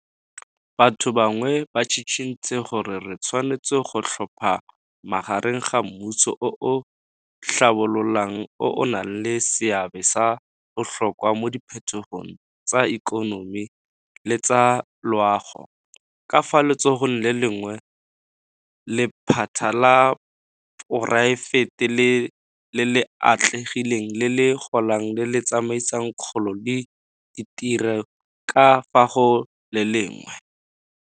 Batho bangwe ba tshitshintse gore re tshwanetse go tlhopha magareng ga mmuso o o tlhabololang o o nang le seabe sa botlhokwa mo diphetogong tsa ikonomi le tsa loago, ka fa letsogong le lengwe, le lephata la poraefete le le atlegileng le le golang le le tsamaisang kgolo le ditiro ka fa go le lengwe.